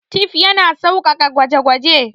Tif yana sauƙaƙa gwaje-gwaje.